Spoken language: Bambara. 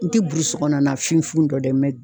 N tɛ burusikɔnɔna na finfin dɔn dɛ